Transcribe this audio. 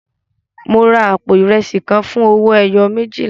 Mo ra àpò ìrẹsì kan fún owó ẹyọ méjìlá.